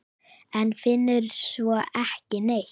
En finnur svo ekki neitt.